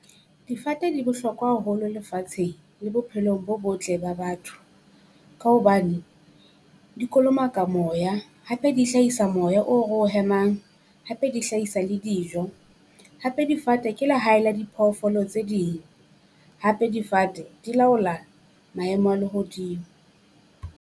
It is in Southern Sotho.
Difate di bohlokwa haholo lefatsheng le bophelong bo botle ba batho. Ka hobane di kolomaka moya, hape di hlahisa moya o ro o hemang, hape di hlahisa le dijo. Hape difate ke lehae le diphoofolo tse ding, hape difate di laola maemo a lehodimo.